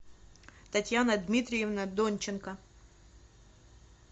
татьяна дмитриевна донченко